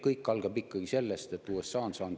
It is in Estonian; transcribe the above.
Kõik algab ikkagi sellest, et USA on saanud …